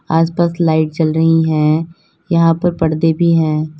आसपास लाइट जल रही हैं यहां पर पर्दे भी हैं।